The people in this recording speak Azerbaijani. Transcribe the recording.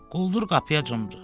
Quldur qapıya cumdu.